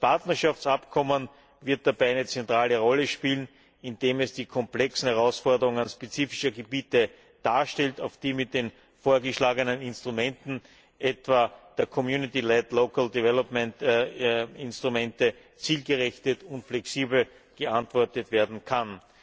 Das Partnerschaftsabkommen wird dabei eine zentrale Rolle spielen, indem es die komplexen Herausforderungen spezifischer Gebiete darstellt, auf die mit den vorgeschlagenen Instrumenten, etwa den community led local development Instrumenten, zielgerichtet und flexibel geantwortet werden kann.